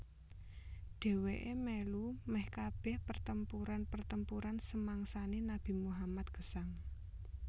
Dheweke melu meh kabeh pertempuran pertempuran semangsane Nabi Muhammad gesang